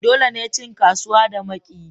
Dole ne cin kasuwa da makiyi